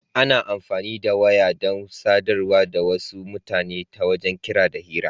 Ana amfani da waya dan sadarwa da wasu mutane ta wajen kira da hira.